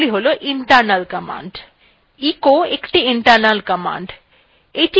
echo একটি internal command the নিয়ে আমরা এমরা একটু পরেই আলোচনা করবো